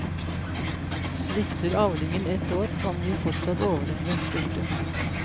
Svikter avlingen ett år kan vi fortsatt overleve. punktum